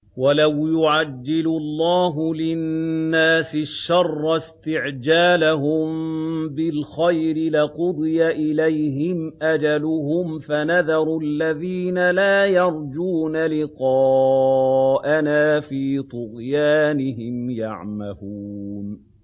۞ وَلَوْ يُعَجِّلُ اللَّهُ لِلنَّاسِ الشَّرَّ اسْتِعْجَالَهُم بِالْخَيْرِ لَقُضِيَ إِلَيْهِمْ أَجَلُهُمْ ۖ فَنَذَرُ الَّذِينَ لَا يَرْجُونَ لِقَاءَنَا فِي طُغْيَانِهِمْ يَعْمَهُونَ